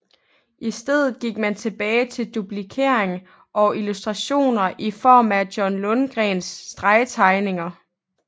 I stedet gik man tilbage til duplikering og illustrationer i form af John Lundgrens stregtegninger